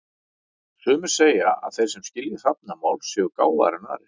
Sumir segja að þeir sem skilji hrafnamál séu gáfaðri en aðrir.